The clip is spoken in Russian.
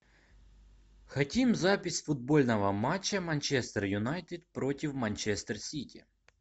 хотим запись футбольного матча манчестер юнайтед против манчестер сити